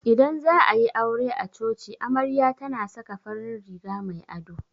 Idan za'a yi aure a coci amarya tana saka farin riga mai ado.